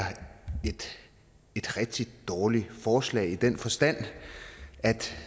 et rigtig dårligt forslag i den forstand at